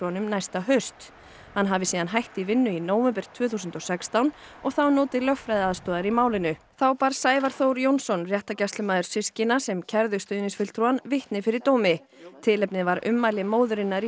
hann hafi hætt í vinnu í nóvember tvö þúsund og sextán og þá notið lögfræðiaðstoðar í málinu þá bar Sævar Þór Jónsson réttargæslumaður systkina sem kærðu stuðningsfulltrúann vitni fyrir dómi tilefnið var ummæli móðurinnar í skýrslu lögreglu